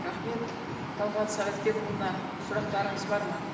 рахмет тағат советбекұлына сұрақтарыңыз бар ма